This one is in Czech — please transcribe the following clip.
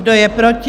Kdo je proti?